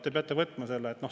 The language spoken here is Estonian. Te peate võtma selle.